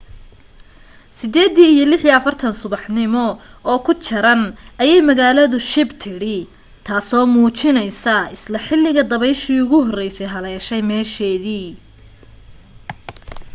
8:46 subaxnimo oo ku jaran ayay magaaladu shib tidhi taaso muujinaysa isla xilliga dabayshii ugu horraysay haleeshay meesheedii